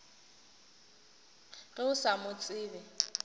ge o sa mo tsebe